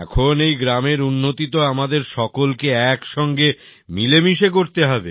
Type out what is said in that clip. এখন এই গ্রামের উন্নতি তো আমাদের সকলকে একসঙ্গে মিলেমিশে করতে হবে